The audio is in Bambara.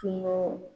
Kungo